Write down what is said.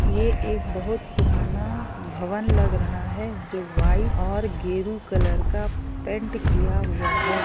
ये एक बहुत पुराना भवन लग रहा है जो गेरू और व्हाइट कलर पेंट क्या हुआ है